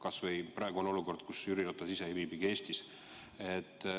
Kas või praeguses olukorras, kui Jüri Ratas ise ei viibi Eestis.